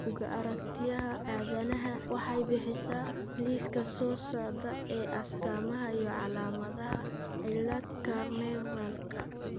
Bugga Aaragtiyaha Aadanaha waxay bixisaa liiska soo socda ee astamaha iyo calaamadaha cilada Carnevalka?